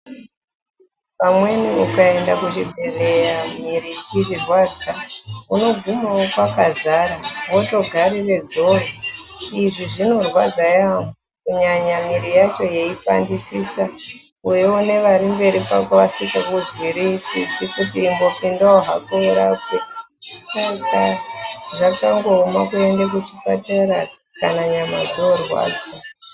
Pamweni ukaenda kuchibhedhleya mwiri ichirwadza, unogumawo kwakadzara, wotogarire dzoro, izvi zvinorwadza yaampho kunyanya mwiri yacho yeipandisisa , weiona vari mberi kwako vasikakuzwiri tsitsi kuti ingopindawo hako urapwe, zvakangooma kuenda kuchipatara nyama dzoorwadza.